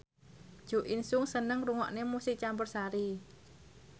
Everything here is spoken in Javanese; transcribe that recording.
Jo In Sung seneng ngrungokne musik campursari